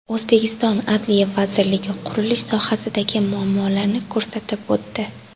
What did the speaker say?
O‘zbekiston Adliya vazirligi qurilish sohasidagi muammolarni ko‘rsatib o‘tdi.